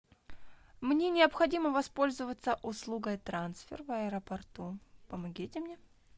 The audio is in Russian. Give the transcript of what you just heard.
мне необходимо воспользоваться услугой трансфер в аэропорту помогите мне